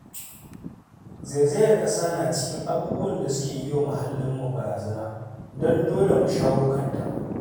Zaizayar ƙasa na cikin abubuwan da suke yi wa muahallinmu barazana, don dole mu shawo kanta.